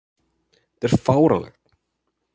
Þetta er fáránlegt